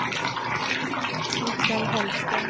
Mikael Hellström